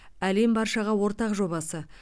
әлем баршаға ортақ жобасы